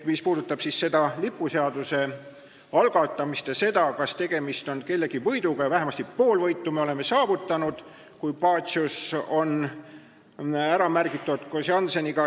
Mis puudutab lipuseaduse muutmise seaduse algatamist ja seda, kas tegemist on kellegi võiduga, siis vähemasti pool võitu me oleme saavutanud, kui Pacius on seal koos Jannseniga ära märgitud.